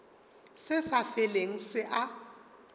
se sa felego se a